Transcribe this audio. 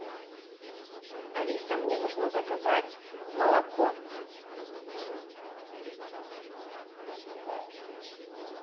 алиса мне нужно заказать молоко